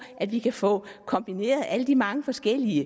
at vi kan få kombineret alle de mange forskellige